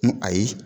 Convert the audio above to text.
N ko ayi